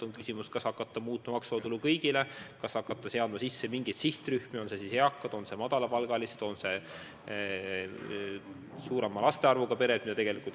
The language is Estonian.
On küsimus, kas hakata muutma maksuvaba tulu kõigil või hakata seadma sisse mingeid sihtrühmi – on need siis eakad, on need madalapalgalised, on need suurema laste arvuga pered.